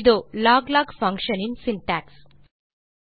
இதோ log log function in syntax